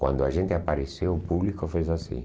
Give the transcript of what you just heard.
Quando a gente apareceu, o público fez assim.